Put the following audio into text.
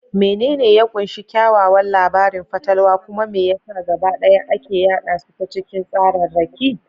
Menene ya ƙunshi kyakkyawan labarin fatalwa, kuma me ya sa gabaɗaya ake yada su ta cikin tsararraki?